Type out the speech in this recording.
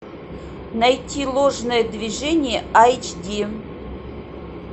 найти ложное движение айч ди